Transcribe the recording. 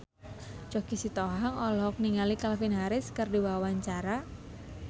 Choky Sitohang olohok ningali Calvin Harris keur diwawancara